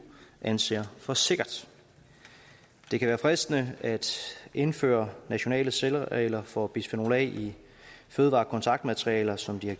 anser for sikkert det kan være fristende at indføre nationale særregler for bisfenol a i fødevarekontaktmaterialer som de har